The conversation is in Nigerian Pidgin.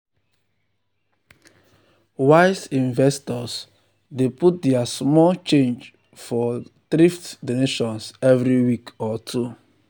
wise investors dey put their small change for thrift donations every week or two.